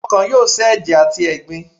Ọ́kan yóò sẹ́ eje atí ẹgbín